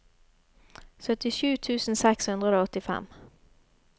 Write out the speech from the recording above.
syttisju tusen seks hundre og åttifem